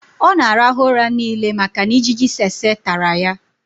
ọ na-arahụ ụra niile maka na ijiji tsetse tara ya